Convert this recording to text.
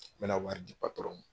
N bɛna wari di patɔrɔn ma.